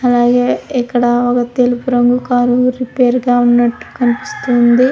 అలాగే ఇక్కడ ఒక తెలుపు రంగు కార్ రిపేరు గా ఉన్నట్టుగా కనిపిస్తూ ఉంది.